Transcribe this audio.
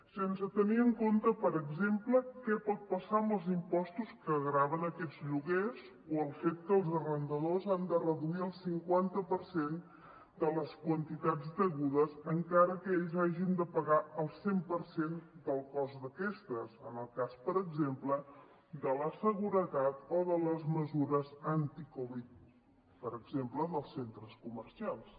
sense tenir en compte per exemple què pot passar amb els impostos que graven aquests lloguers o el fet que els arrendadors han de reduir el cinquanta per cent de les quantitats degudes encara que ells hagin de pagar el cent per cent del cost d’aquestes en el cas per exemple de la seguretat o de les mesures anti covid per exemple dels centres comercials